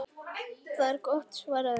Það er gott svaraði hún.